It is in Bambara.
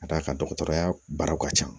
Ka d'a kan dɔgɔtɔrɔya baaraw ka ca